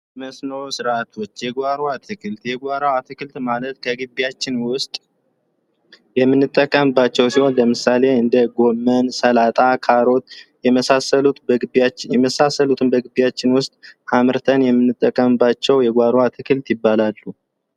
መስኖ ስርዓቶች የጓሮ አትክልት የጓሮ አትክልት ማለት ከግቢያችን ውስጥ የምንጠቀምባቸው ሲሆን ለምሳሌ እንደ ጎመን ፣ሰላጣ ፣ካሮት የመሳሰሉትን በመግቢያችን ውስጥ አምርተን የምንጠቀምባቸው የጓሮ አትክልት ይባላሉ።